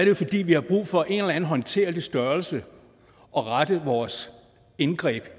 jo fordi vi har brug for en eller anden håndterlig størrelse at rette vores indgreb